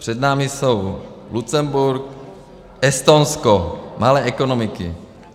Před námi jsou Lucemburk, Estonsko, malé ekonomiky.